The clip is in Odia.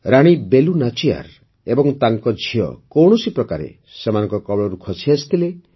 ରାଣୀ ବେଲୁ ନାଚିୟାର ଏବଂ ତାଙ୍କ ଝିଅ କୌଣସିପ୍ରକାରେ ସେମାନଙ୍କ କବଳରୁ ଖସିଆସିଥିଲେ